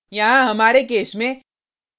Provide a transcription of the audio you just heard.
यहाँ हमारे केस में